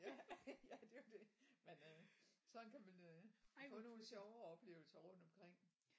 Ja det er jo det men øh sådan kan man øh få nogle sjove opleveser rundt omkring